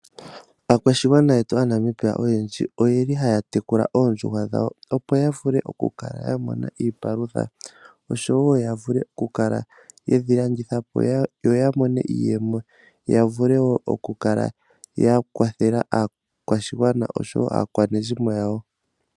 Aakwashigwana yetu aaNamibia oyeli haya tekula oondjuhwa dhawo opo ya vule oku kala mona iipalutha, osho wo ya vule oku kala yedhi landitha po yo ya mone iiyemo, ya vule woo oku kala ya kwathela aakwashigwana osho wo aakwanezimo yawo.